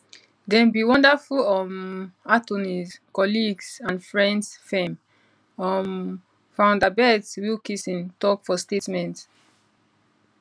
dem be wonderful um attorneys colleagues and friends firm um founder beth wilkinson tok for statement